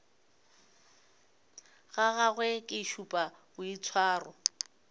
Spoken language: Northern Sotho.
ga gagwe ke šupa boitshwaro